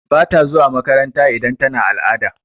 Bata zuwa makaranta idan tana al'ada.